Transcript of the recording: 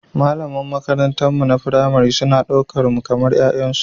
Malaman makarantunmu na firamare suna ɗaukar mu kamar 'ya'yansu.